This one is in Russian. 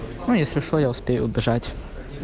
ну если что я успею убежать